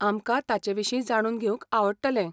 आमकां ताचेविशीं जाणून घेवंक आवडटलें.